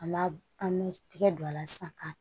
An b'a an bɛ tigɛ don a la sisan